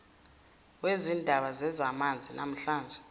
wezindaba zezamanzi namahlathi